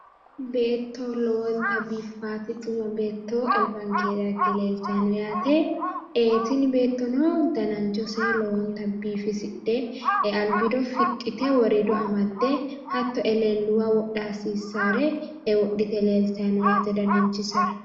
Beetto lowontanni biiffaate. Xuma beetto albankeenni dagge leeltanni no yaate tini beettono dananchose lowo geeshsha biifisidhe albiido fixxite woriido amaxxite hattono eleelluwa wodha hasiissaare wodhite leeltanni no yaate dananchisera.